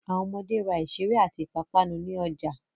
Àwọn ọmọde ra ìṣeré àti ìpápánu ní ọjà.